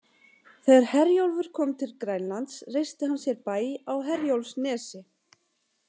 Þegar Herjólfur kom til Grænlands reisti hann sér bæ á Herjólfsnesi.